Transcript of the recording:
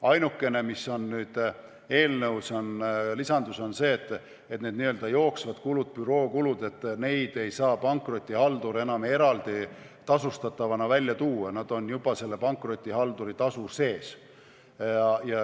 Ainukene lisandus on nüüd eelnõus see, et neid n-ö jooksvaid kulusid, bürookulusid ei saa pankrotihaldur enam eraldi tasustatavatena ära tuua, nad on juba pankrotihalduri tasu sees.